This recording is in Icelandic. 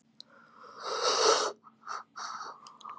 Þetta stafar í rauninni af möndulhalla jarðar.